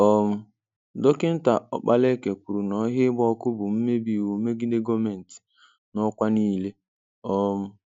um Dọkinta Okpalaeke kwuru na ọhịa ịgba ọkụ bụ mmebi iwụ megide gọọmentị n'ọkwa niile. um